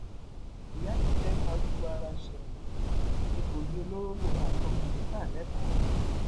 ìyá yìí fẹẹ farúgbó ara sẹwọn egbòogi olóró lòun àtọmọ ẹ ń ta lẹkọọ